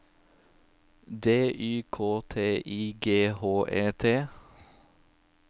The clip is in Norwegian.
D Y K T I G H E T